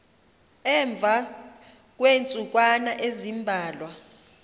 emva kweentsukwana ezimbalwa